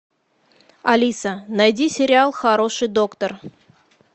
алиса найди сериал хороший доктор